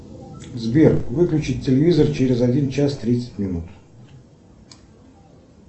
сбер выключить телевизор через один час тридцать минут